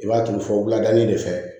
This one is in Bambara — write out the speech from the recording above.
I b'a turu fɔ wulada in de fɛ